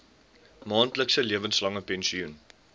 maandelikse lewenslange pensioen